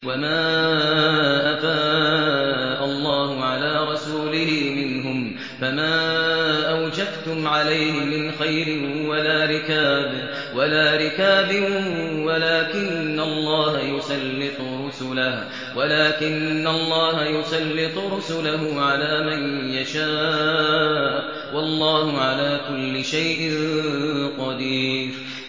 وَمَا أَفَاءَ اللَّهُ عَلَىٰ رَسُولِهِ مِنْهُمْ فَمَا أَوْجَفْتُمْ عَلَيْهِ مِنْ خَيْلٍ وَلَا رِكَابٍ وَلَٰكِنَّ اللَّهَ يُسَلِّطُ رُسُلَهُ عَلَىٰ مَن يَشَاءُ ۚ وَاللَّهُ عَلَىٰ كُلِّ شَيْءٍ قَدِيرٌ